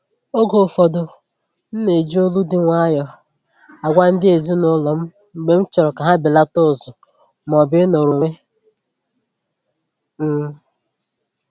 Oge ụfọdụ m ná-eji olu dị nwayọọ agwa ndị ezinụlọ m mgbe m chọrọ ka ha belata ụzụ maọbụ ịnọrọ onwe m